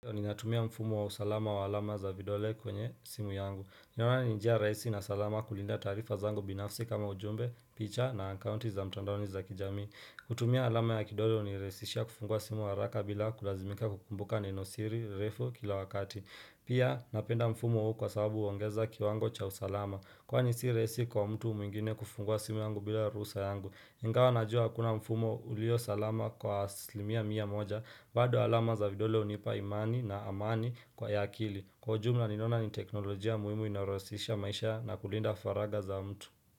Ninatumia mfumo wa usalama wa alama za vidole kwenye simu yangu. Naona ni njia raisi na salama kulinda taarifa zangu binafsi kama ujumbe, picha na akaunti za mtandaoni za kijamii. Kutumia alama ya kidole huniraisishia kufungua simu haraka bila kulazimika kukumbuka nenosiri, refu kila wakati. Pia napenda mfumo huu kwa sababu huongeza kiwango cha usalama. Kwa si raisi kwa mtu mwingine kufungua simu yangu bila ruhusa yangu. Ingawa najua hakuna mfumo ulio salama kwa asilimia mia moja bado alama za vidole hunipa imani na amani kwa ya akili Kwa ujumla ninaona ni teknolojia muhimu inayoraisisha maisha na kulinda faragha za mtu.